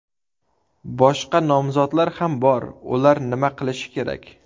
Boshqa nomzodlar ham bor, ular nima qilishi kerak?